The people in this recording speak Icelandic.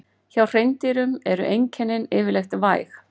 Hjá hreindýrum eru einkennin yfirleitt væg.